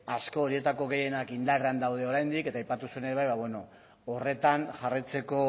asko horietako gehienak indarrean daude oraindik eta aipatu zuen ere bai horretan jarraitzeko